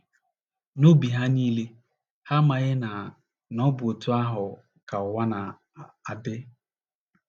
N’obi ha niile, ha amaghị na na ọ bụ otú ahụ ka ụwa na - adị.